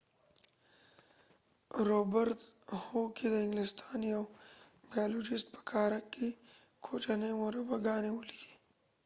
روبرت هوکې، د انګلستان یو بیالوجست ،په کارک کې کوچنی مربع ګانی ولیدي